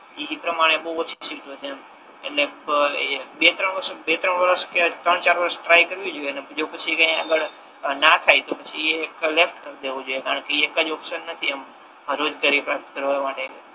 એ પ્રમાણે બહુ ઓછી સીટ છે એમ એટલે બે ત્રણ વર્ષ બે ત્રણ વર્ષ કે ત્રણ ચાર વર્ષ ટ્રાય કરવી જોઈએ ને જો પછી આગળ ના થાય તો પછી એ લેફ્ટ કર દેવુ જોઈએ કારણ કે એ એક જ ઓપ્શન નથી આમ રોજગારી પ્રાપ્ત કરવા માટે